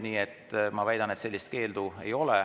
Nii et ma väidan, et sellist keeldu ei ole.